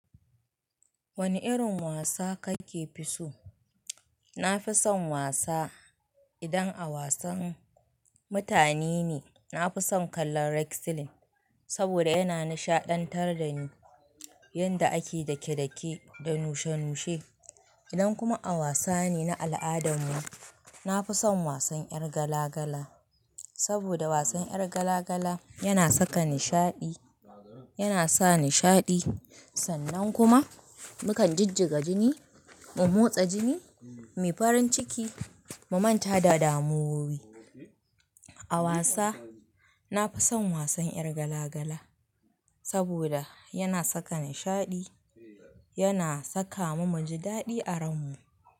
Wani irin wasa kake fi so? Na fi son wasa. Idan a wasan mutane ne, na fi son kallon wrestling saboda yana nishaɗantar da ni, yadda ake dake-dake da nushe-nushe. Idan kuma a wasa ne na al'adar mu, na fi son wasan ƴar gala-gala. Saboda wasan ƴar gala-gala yana saka nishaɗi, yana sa nishaɗi. Sannan kuma mukan jijjiga jini, mu motsa jini muyi farin ciki, mu manta da damuwowi. A wasa, na fi son wasan ƴar gala-gala saboda yana saka nishaɗi, yana saka mu muji daɗi a ran mu.